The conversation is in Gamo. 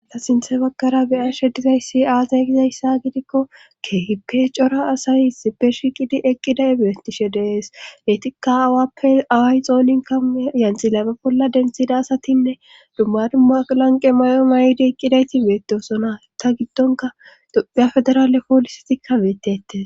Ta sinthe bagkara beya she dizay si aaza gizayssa gidikko keehippe cora asay sipe shiqidi eqqida e beetishe dees letikka awappe away xoolinka yanxi laphe bolla denthida asatinne dumma dumma lanqe may7o may7di eqqidayti beettosona ta giddonka dophya federaale poolisetikka beettette.